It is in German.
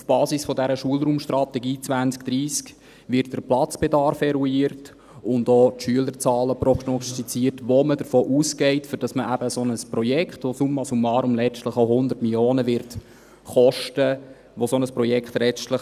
Auf der Basis dieser Schulraumstrategie 2030 werden der Platzbedarf eruiert und auch die Schülerzahlen prognostiziert, von denen man ausgeht, damit man eben ein solches Projekt rechtfertigt, das summa summarum letztlich auch 100 Mio. Franken kosten wird.